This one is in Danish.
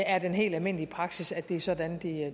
er den helt almindelige praksis at det er sådan